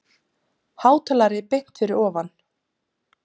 Hátalari beint fyrir ofan.